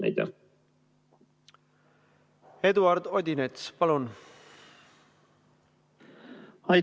Eduard Odinets, palun!